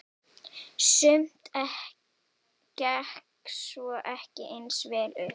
Sumt gekk svo ekki eins vel upp.